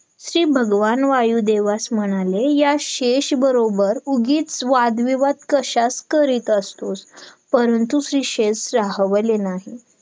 manager जाऊन भेटू direct बर ठीक आहे मग आपण दोघी जाऊ या.